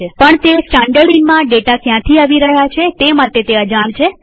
પણ તે સ્ટાનડર્ડઈનમાં ડેટા ક્યાંથી આવી રહ્યા છે તે માટે અજાણ છે